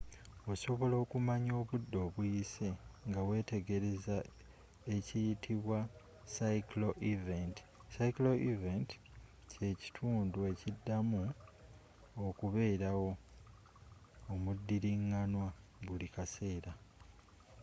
osobola okumanya obudde obuyise ngawetegereza ekiyitibwa cyclical event”. cyclical event kyekintu ekiddamu okubeerawo omudiringanwa buli kaseera